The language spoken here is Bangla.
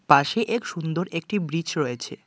পাশে এক সুন্দর একটি ব্রিচ রয়েছে।